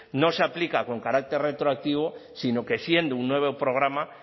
no se aplica con carácter retroactivo sino que siendo un nuevo programa